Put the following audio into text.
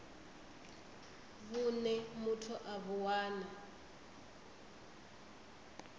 vhune muthu a vhu wana